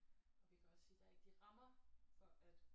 Og vi kan også sige der er ikke de rammer for at